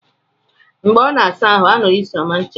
Mgbe ọ na-asa ahụ, a nụrụ isi ọma ncha ya.